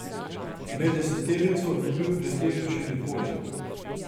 Med deseterico ni bil pred tem še nikoli.